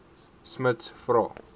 smuts vra